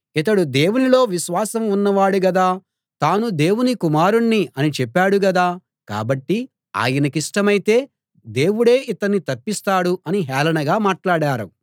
ఇతడు దేవునిలో విశ్వాసం ఉన్నవాడు గదా తాను దేవుని కుమారుణ్ణి అని చెప్పాడు గదా కాబట్టి ఆయనకిష్టమైతే దేవుడే ఇతన్ని తప్పిస్తాడు అని హేళనగా మాట్లాడారు